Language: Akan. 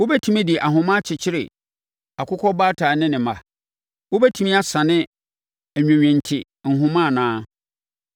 “Wobɛtumi de ahoma akyekyere Akokɔbaatan ne ne mma? Wobɛtumi asane Nwenwenente nhoma anaa?